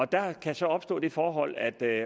der kan så opstå det forhold at der